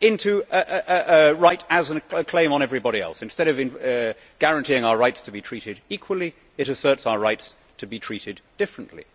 to a right as a claim on everybody else. Instead of guaranteeing our rights to be treated equally, it asserts our rights to be treated differently.